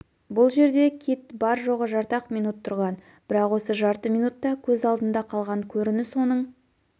бұл жерде кит бар-жоғы жарты-ақ минут тұрған бірақ осы жарты минутта көз алдында қалған көрініс оның